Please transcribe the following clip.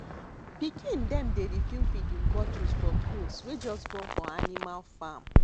pikin dem dey refill feeding botlles for goats wey just born for animal farm